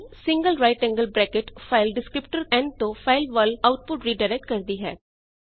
n single right angled bracket file descriptor n ਤੋਂ file ਵੱਲ output redirect ਕਰਦੀ ਹੈ